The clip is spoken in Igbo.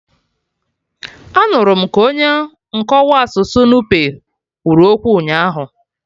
Anụrụ m ka onye nkọwa asụsụ Nupe kwuru okwu ụnyaahụ